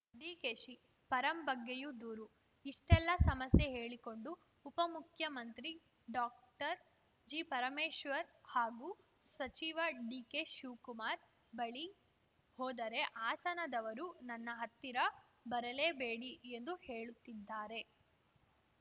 ಡಿಕೆಶಿಪರಂ ಬಗ್ಗೆಯೂ ದೂರು ಇಷ್ಟೆಲ್ಲಾ ಸಮಸ್ಯೆ ಹೇಳಿಕೊಂಡು ಉಪಮುಖ್ಯಮಂತ್ರಿ ಡಾಕ್ಟರ್ಜಿ ಪರಮೇಶ್ವರ್‌ ಹಾಗೂ ಸಚಿವ ಡಿಕೆ ಶಿವಕುಮಾರ್‌ ಬಳಿ ಹೋದರೆ ಹಾಸನದವರು ನನ್ನ ಹತ್ತಿರ ಬರಲೇಬೇಡಿ ಎಂದು ಹೇಳುತ್ತಿದ್ದಾರೆ